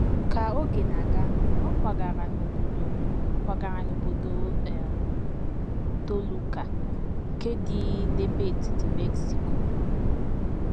Ka oge na - aga, ọ kwagara n’obodo kwagara n’obodo um Toluca, nke dị n’ebe etiti Mexico.